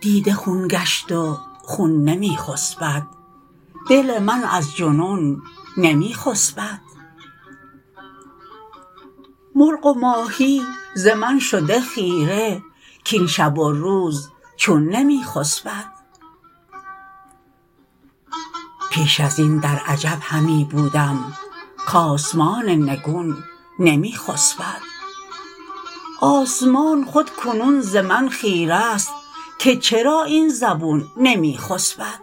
دیده خون گشت و خون نمی خسبد دل من از جنون نمی خسبد مرغ و ماهی ز من شده خیره کاین شب و روز چون نمی خسبد پیش از این در عجب همی بودم کآسمان نگون نمی خسبد آسمان خود کنون ز من خیره است که چرا این زبون نمی خسبد